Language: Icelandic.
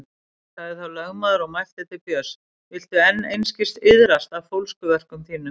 Sagði þá lögmaður og mælti til Björns: Viltu enn einskis iðrast af fólskuverkum þínum?